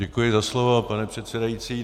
Děkuji za slovo, pane předsedající.